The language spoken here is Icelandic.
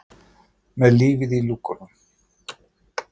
Með lífið í lúkunum.